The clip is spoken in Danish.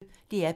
DR P1